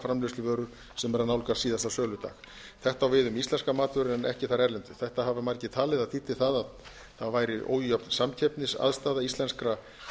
framleiðsluvörur sem eru að nálgast síðasta söludag þetta á við um íslenskar matvörur en ekki þær erlendu þetta hafa margir talið að þýddi það að það væri ójöfn samkeppnisaðstaða íslenskra